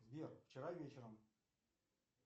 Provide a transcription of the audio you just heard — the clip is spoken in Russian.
сбер вчера вечером